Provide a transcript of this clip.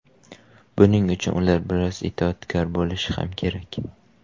Buning uchun ular biroz itoatkor bo‘lishi ham kerak.